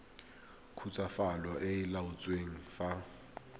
khutswafatso e e laotsweng fa